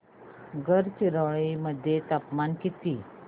गडचिरोली मध्ये तापमान किती